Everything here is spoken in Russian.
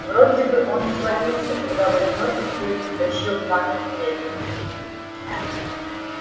вроде бы он свалился когда в одиночестве тащил камень к мельнице